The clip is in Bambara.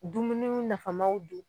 Dumuniw nafamaw dun